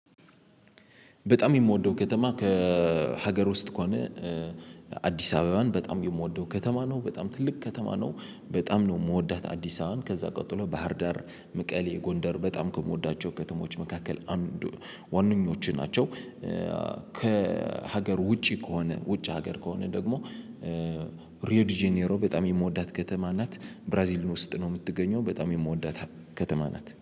በጣም የምወደው ከተማ ከሀገር ውስጥ ከሆነ አዲስ አበባን በጣም የምወደው ከተማ ነው። በጣም ትልቅ ከተማ ነው በጣም ነው የምወዳት አዲስ አበባን ከዛ ቀጥሎ ባህርዳር መቀሌ ጎንደር በጣም ከምወዳቸው ከተሞች መካከል አንዱ ዋነኞቹ ናቸው። ከሀገር ውጪ ከሆነ ውጭ ሀገር ከሆነ ደግሞ ሪዮ ዲጂኔሮ በጣም የምወዳት ከተማ ናት። ብራዚል ውስጥ ነው የምትገኘው። በጣም የምወዳት ከተማ ናት።